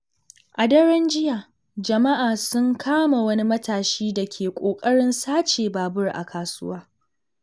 A daren jiya, jama'a sun kama wani matashi da ke ƙoƙarin sace babur a kasuwa.